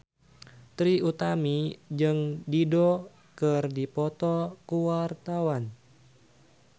Trie Utami jeung Dido keur dipoto ku wartawan